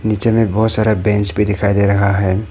पीछे में बहोत सारा बेंच भी दिखाई दे रहा है।